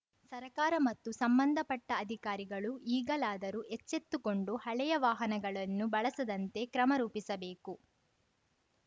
ಸರಕಾರ ಮತ್ತು ಸಂಬಂಧಪಟ್ಟಅಧಿಕಾರಿಗಳು ಈಗಲಾದರೂ ಎಚ್ಚೆತ್ತುಕೊಂಡು ಹಳೆಯ ವಾಹನಗಳನ್ನು ಬಳಸದಂತೆ ಕ್ರಮ ರೂಪಿಸಬೇಕು